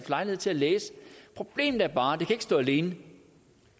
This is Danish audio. lejlighed til at læse problemet er bare at det ikke kan stå alene